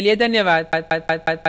हमसे जुड़ने के लिए धन्यवाद